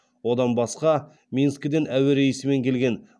одан басқа минскіден әуе рейсімен келген